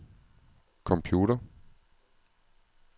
computer